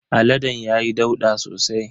Aladen ya yi ɗauda sosai.